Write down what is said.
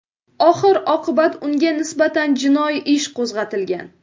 Oxir-oqibat unga nisbatan jinoiy ish qo‘zg‘atilgan.